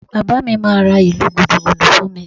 Bàbá mi máa ra ìlù Gúdúgúdú fún mi